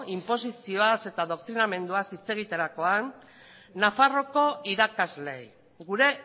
inposizioaz eta doktrinamenduaz hitz egiterakoan nafarroako irakasleei gure